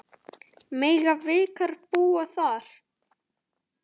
Mega veikir búa þar?